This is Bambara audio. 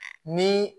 Ni